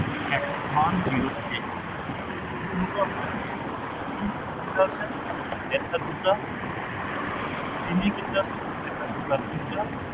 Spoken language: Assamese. one zero eight কিমান হব আপোনাৰ তিনি কেইটা আছে, এটা দুটা তিনিকেইটা আছে, এটা দুটা তিনটা